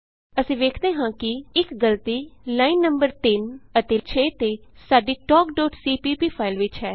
ਅਸੀਂ ਵੇਖਦੇ ਹਾਂ ਕਿ ਇਕ ਗਲਤੀ ਲਾਈਨ ਨੰ 3 ਅਤੇ 6 ਤੇ ਸਾਡੀ talkਸੀਪੀਪੀ ਫਾਈਲ ਵਿਚ ਹੈ